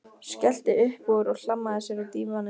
Skellti upp úr og hlammaði sér á dívaninn.